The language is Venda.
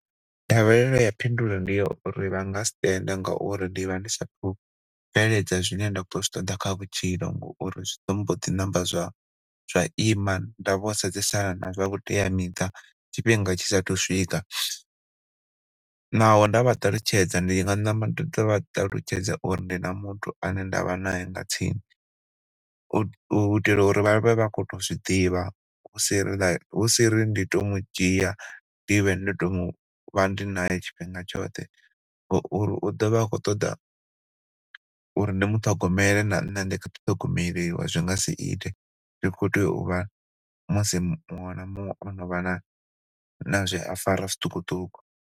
Ndavhelelo ya phindulo ndi ya uri vha nga si tende ngauri ndi vha ndi sathu bveledza zwine nda khou zwi ṱoḓa kha vhutshilo ngauri zwi mboḓi namba zwa ima nda vho sedzena na zwa vhuteamiṱa tshifhinga tshi saathu swika. Naho ndavha ṱalutshedza ndi nga namba nda tou vha ṱalutshedza uri ndi na muthu ane ndavha nae nga tsini, u itela uri vha vhe vha kho tou zwiḓivha hu siri like, hu siri ndi to mudzhia ndi vhe ndi tou vha ndi nae tshifhinga tshoṱhe ngauri u ḓo vha a khou ṱoḓa uri ndi muṱhogomele na nṋe ndi kha ḓi ṱhogomeliwa zwi nga siite ri khou tea u vha musi muṅwe na muṅwe o novha na zwe a fara zwiṱukuṱuku.